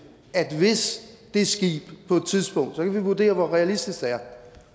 at hvis det skib på et tidspunkt vi vurdere hvor realistisk det er